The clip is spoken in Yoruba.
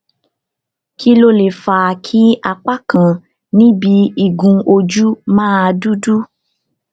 kí ló lè fà á kí apá kan níbi igun ojú máa dúdú